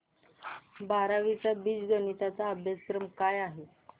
बारावी चा बीजगणिता चा अभ्यासक्रम काय आहे